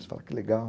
Você fala que legal.